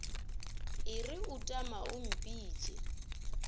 e re utama o mpitše